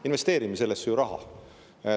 Investeerime sellesse ju raha.